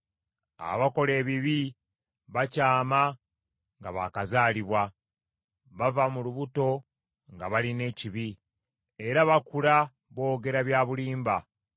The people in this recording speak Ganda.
Abakola ebibi bakyama nga baakazaalibwa, bava mu lubuto nga balina ekibi, era bakula boogera bya bulimba.